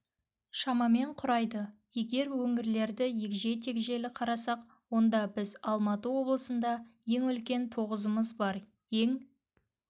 шамамен құрайды егер өңірлерді егжей-тегжейлі қарасақ онда біз алматы облысында ең үлкен тозығымыз бар ең